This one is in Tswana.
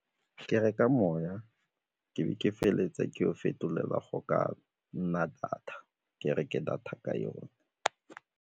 Ke reka moya, ke be ke feleletse ke go fetolela go ka nna data ke reke data ka yone.